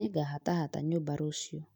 Nĩngahatata nyũmba rũciũ